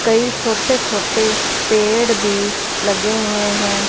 कई छोटे छोटे पेड़ भी लगे हुए हैं।